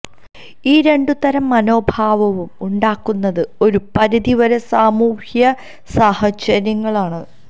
ഈ രണ്ടു തരം മനോഭാവവും ഉണ്ടാക്കുന്നത് ഒരു പരിധി വരെ സാമൂഹ്യസാഹചര്യങ്ങളാണ്